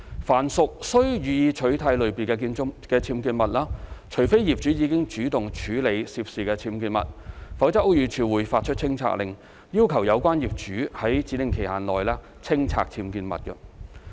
凡屬"須予以取締"類別的僭建物，除非業主已主動處理涉事僭建物，否則屋宇署會發出清拆令，要求有關業主在指定期限內清拆僭建物。